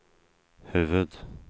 huvud-